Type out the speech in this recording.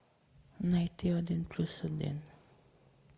найти один плюс один